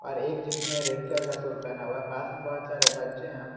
और एक जिसने रेड कलर का सूट पहना हुआ है पास में बहोत सारे बच्चे हैं।